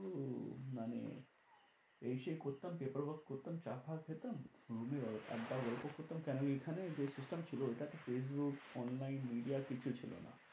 মানে এই সেই করতাম paper work করতাম চা ফা খেতাম room এ আড্ডা গল্প করতাম কেন এইখানে যে system ছিল ওইটাতে ফেইসবুক online media কিচ্ছু ছিল না।